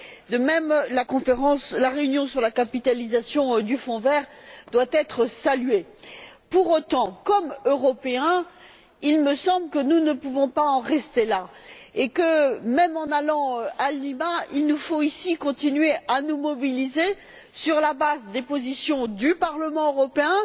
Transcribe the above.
Enfin, la réunion sur la capitalisation du Fonds vert doit aussi être saluée. Pour autant, comme Européens, il me semble que nous ne pouvons pas en rester là et que, même en allant à Lima, il nous faut, ici, continuer à nous mobiliser sur la base des positions du Parlement européen